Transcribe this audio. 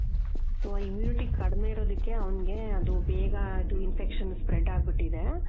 so immunity ಕಡ್ಮೆ ಇರೋದುಕ್ಕೆ ಅವ್ನಿಗೆ ಅದು ಬೇಗ ಇದು infection spread ಅಗ್ಬಿಟ್ಟಿದೆ .